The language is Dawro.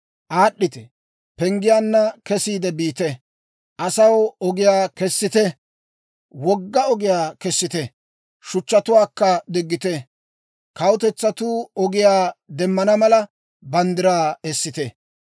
Aad'd'ite! Penggiyaanna kesiide biite! Asaw ogiyaa kessite! Kessite, wogga ogiyaa kessite! Shuchchatuwaakka diggite; kawutetsatuu ogiyaa demmana mala, banddiraa essite.